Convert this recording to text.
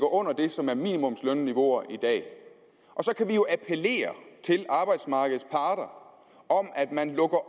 under det som er minimumslønniveauet i dag og så kan vi jo appellere til arbejdsmarkedets parter om at man lukker